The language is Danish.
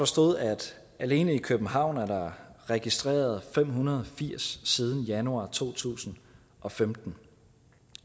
stod at der alene i københavn er registreret fem hundrede og firs siden januar to tusind og femten